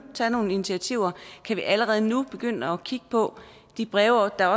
tage nogle initiativer kan vi allerede nu begynde at kigge på de breve der